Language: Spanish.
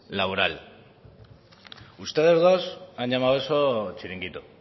laboral ustedes dos han llamado eso chiringuito